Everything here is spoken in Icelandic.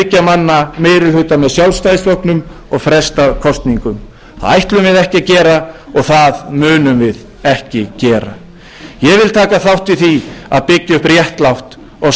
manna meiri hluta með sjálfstæðisflokknum og frestað kosningum það ætlum við ekki að gera og það munum við ekki gera ég vil taka þátt í því að byggja upp réttlátt og sanngjarnt þjóðfélag